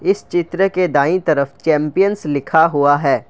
इस चित्र के दांई तरफ चैंपियंस लिखा हुआ है ।